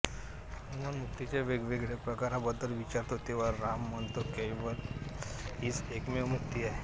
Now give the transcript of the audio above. हनुमान मुक्तीच्या वेगवेगळ्या प्रकारांबद्दल विचारतो तेव्हा राम म्हणतो कैवल्य हीच एकमेव मुक्ती आहे